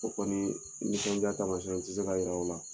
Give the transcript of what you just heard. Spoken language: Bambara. O kɔni nisɔndiya tamasɛn n tɛ se ka jiri aw la